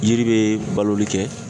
Yiri be baloli kɛ.